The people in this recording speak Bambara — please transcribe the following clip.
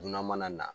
Dunan mana na